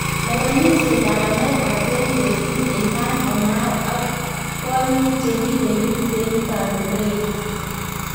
Lewenisyeetab Amerika 2018:Ilhan Omar ak kwonyiik chekibelis en kablee nyin